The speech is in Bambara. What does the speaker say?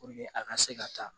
a ka se ka taa